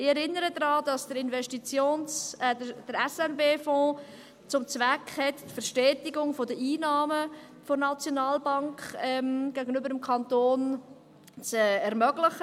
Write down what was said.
Ich erinnere daran, dass der SNB-Fonds zum Zweck hat, die Verstetigung der Einnahmen der SNB gegenüber dem Kanton zu ermöglichen.